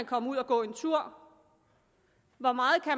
komme ud at gå en tur hvor meget